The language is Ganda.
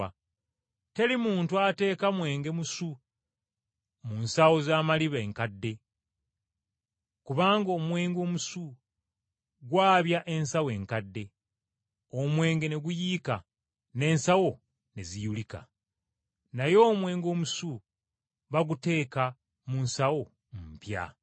Teri muntu ateeka mwenge musu mu nsawo z’amaliba nkadde kubanga omwenge omusu gwabya ensawo enkadde, omwenge ne guyiika, n’ensawo ne ziyulika. Naye omwenge omusu baguteeka mu nsawo mpya.”